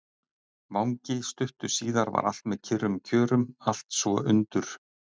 vangi stuttu síðar var allt með kyrrum kjörum, allt svo undur